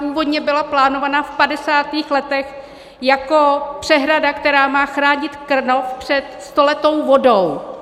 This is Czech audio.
Původně byla plánována v 50. letech jako přehrada, která má chránit Krnov před stoletou vodou.